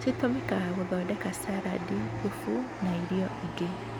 Citũmĩkaga gũthondeka saradi ,thubu ,na irioinĩ ingĩ .